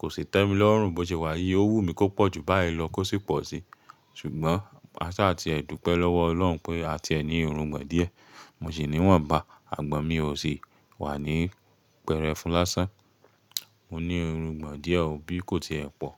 Kò sí tẹ́mi lọ́rùn bó ṣe wà yí, ó wù mí kó pọ̀ ju báyìí lọ kó sì pọ̀ sí. Ṣùgbọ́n a sá ti ẹ̀ dúpẹ́ lọ́wọ́ Ọlọ́run pé a ti ẹni irungbọ̀n díẹ̀. Mo sì ní wọ́nbá àgbọn mi ò sì wà ní pẹrẹfun lásán. Mo ní irungbọ̀n díẹ̀ o, bí kò tiẹ̀ pọ̀